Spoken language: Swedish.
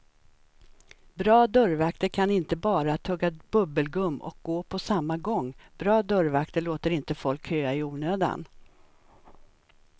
Bra dörrvakter kan inte bara tugga bubbelgum och gå på samma gång, bra dörrvakter låter inte folk köa i onödan.